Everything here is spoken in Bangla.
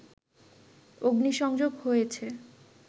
অগ্নিসংযোগ হয়েছে